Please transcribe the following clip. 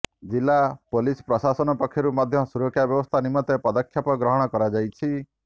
ଜିଲ୍ଳା ପୋଲିସ ପ୍ରଶାସନ ପକ୍ଷରୁ ମଧ୍ୟ ସୁରକ୍ଷା ବ୍ୟବସ୍ଥା ନିମନ୍ତେ ପଦକ୍ଷେପ ଗ୍ରହଣ କରାଯାଇଛି